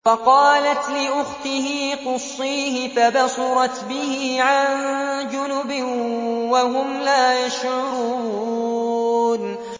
وَقَالَتْ لِأُخْتِهِ قُصِّيهِ ۖ فَبَصُرَتْ بِهِ عَن جُنُبٍ وَهُمْ لَا يَشْعُرُونَ